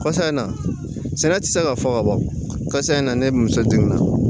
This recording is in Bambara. Kɔsa in na sɛnɛ tɛ se ka fɔ ka ban kasa in na ne muso jigin na